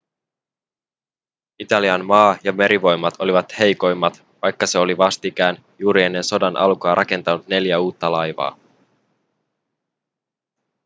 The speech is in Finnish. italian maa- ja merivoimat olivat heikommat vaikka se oli vastikään juuri ennen sodan alkua rakentanut neljä uutta laivaa